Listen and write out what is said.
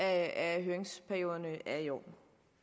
at høringsperioderne er i orden